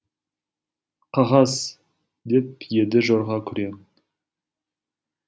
қағаз деп еді жорға күрең